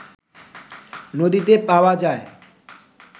নদীতে পাওয়া যায়